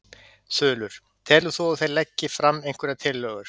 Þulur: Telur þú að þeir leggi fram einhverjar tillögur?